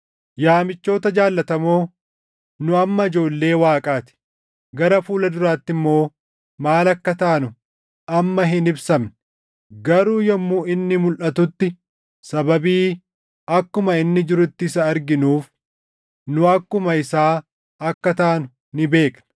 Yaa michoota jaallatamoo, nu amma ijoollee Waaqaa ti; gara fuula duraatti immoo maal akka taanu amma hin ibsamne. Garuu yommuu inni mulʼatutti sababii akkuma inni jirutti isa arginuuf nu akkuma isaa akka taanu ni beekna.